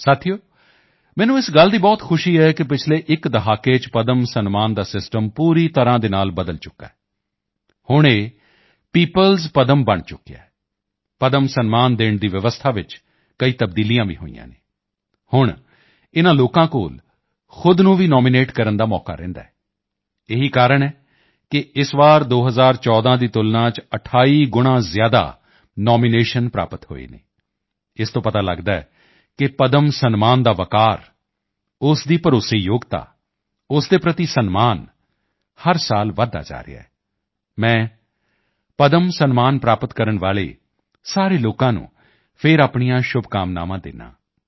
ਸਾਥੀਓ ਮੈਨੂੰ ਇਸ ਗੱਲ ਦੀ ਬਹੁਤ ਖੁਸ਼ੀ ਹੈ ਕਿ ਪਿਛਲੇ ਇੱਕ ਦਹਾਕੇ ਚ ਪਦਮ ਸਨਮਾਨ ਦਾ ਸਿਸਟਮ ਪੂਰੀ ਤਰ੍ਹਾਂ ਨਾਲ ਬਦਲ ਚੁੱਕਿਆ ਹੈ ਹੁਣ ਇਹ ਪੀਪਲਸ ਪਦਮ ਬਣ ਚੁੱਕਿਆ ਹੈ ਪਦਮ ਸਨਮਾਨ ਦੇਣ ਦੀ ਵਿਵਸਥਾ ਵਿੱਚ ਕਈ ਤਬਦੀਲੀਆਂ ਵੀ ਹੋਈਆਂ ਹਨ ਹੁਣ ਇਨ੍ਹਾਂ ਲੋਕਾਂ ਕੋਲ ਖ਼ੁਦ ਨੂੰ ਵੀ ਨੋਮੀਨੇਟ ਕਰਨ ਦਾ ਮੌਕਾ ਰਹਿੰਦਾ ਹੈ ਇਹੀ ਕਾਰਣ ਹੈ ਕਿ ਇਸ ਵਾਰ 2014 ਦੀ ਤੁਲਨਾ ਚ 28 ਗੁਣਾਂ ਜ਼ਿਆਦਾ ਨੋਮੀਨੇਸ਼ਨ ਪ੍ਰਾਪਤ ਹੋਏ ਹਨ ਇਸ ਤੋਂ ਪਤਾ ਲਗਦਾ ਹੈ ਕਿ ਪਦਮ ਸਨਮਾਨ ਦਾ ਵੱਕਾਰ ਉਸ ਦੀ ਭਰੋਸੇਯੋਗਤਾ ਉਸ ਦੇ ਪ੍ਰਤੀ ਸਨਮਾਨ ਹਰ ਸਾਲ ਵਧਦਾ ਜਾ ਰਿਹਾ ਹੈ ਮੈਂ ਪਦਮ ਸਨਮਾਨ ਪ੍ਰਾਪਤ ਕਰਨ ਵਾਲੇ ਸਾਰੇ ਲੋਕਾਂ ਨੂੰ ਫਿਰ ਆਪਣੀਆਂ ਸ਼ੁਭਕਾਮਨਾਵਾਂ ਦਿੰਦਾ ਹਾਂ